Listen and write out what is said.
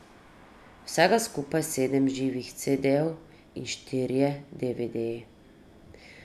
Vsega skupaj sedem živih cedejev in štirje devedeji.